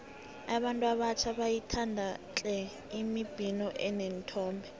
abantu abatjha bayayithanda tle imibhino eneenthombe